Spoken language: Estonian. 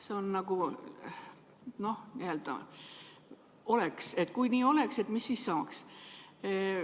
See on oleks-küsimus, et kui nii oleks, mis siis saaks.